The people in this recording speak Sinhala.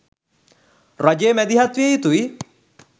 රජය මැදිහත් විය යුතුයි.